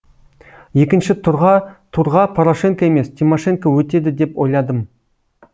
екінші турға порошенко емес тимошенко өтеді деп ойладым